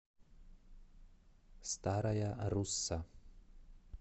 старая русса